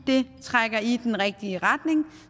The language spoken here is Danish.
det trækker i den rigtige retning